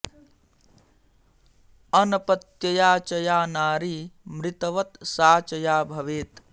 अनपत्यया च या नारी मृतवत् सा च या भवेत्